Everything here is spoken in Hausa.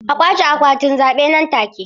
A ƙwace akwatin zabe nan take!